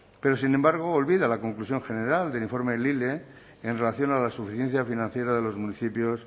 pero sin embargo olvida la conclusión general del informe lile en relación a la suficiencia financiera de los municipios